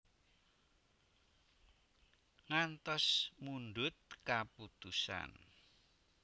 Ngantos mundhut kaputusan